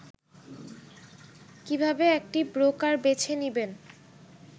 কিভাবে একটি ব্রোকার বেছে নিবেন